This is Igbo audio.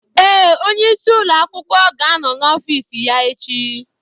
Ee, onyeisi ụlọ akwụkwọ ga-anọ n'ọfiisi ya echi.